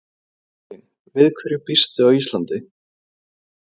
Elín: Við hverju býstu á Íslandi?